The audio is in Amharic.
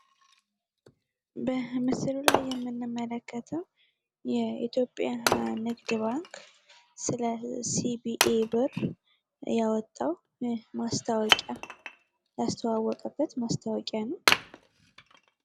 በምስሉ ላይ የምንመለከተው የኢትዮጵያ ንግድ ባንክ ስለ ሲቢኢ ብር ያወጣው ማስታወቂያ ያስተዋወቀበት ማስታወቂያ ነው ።